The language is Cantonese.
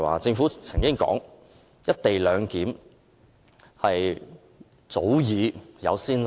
政府曾經指出"一地兩檢"安排早有先例。